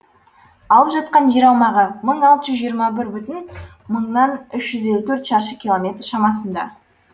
алып жатқан жер аумағы мың алты жүз жиырма бір бүтін мыңнан үш жүз елу төрт шаршы километр шамасында